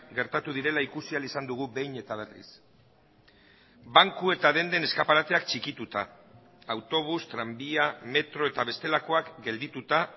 gertatu direla ikusi ahal izan dugu behin eta berriz banku eta denden eskaparateak txikituta autobus tranbia metro eta bestelakoak geldituta